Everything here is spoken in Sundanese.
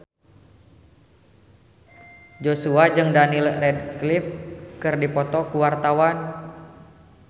Joshua jeung Daniel Radcliffe keur dipoto ku wartawan